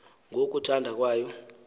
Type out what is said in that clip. ngo kuthanda kwayo